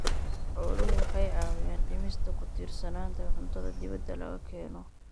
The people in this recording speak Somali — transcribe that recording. Xooluhu waxay caawiyaan dhimista ku tiirsanaanta cuntada dibadda laga keeno.